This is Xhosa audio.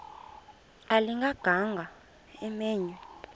ayilinga gaahanga imenywe